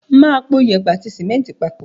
Mà á po yèèpẹ̀ àti símẹ́ńtì papọ̀.